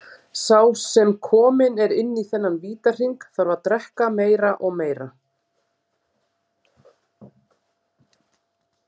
Sá sem kominn er inn í þennan vítahring, þarf að drekka meira og meira.